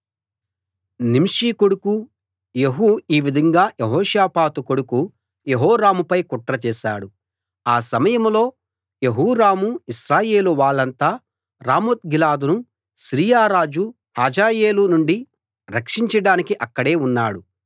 నింషీ కొడుకు యెహూ ఈ విధంగా యెహోషాపాతు కొడుకు యెహోరాముపై కుట్ర చేశాడు ఆ సమయంలో యెహోరామూ ఇశ్రాయేలు వాళ్ళంతా రామోత్గిలాదును సిరియా రాజు హజాయేలు నుండి రక్షించడానికి అక్కడే ఉన్నాడు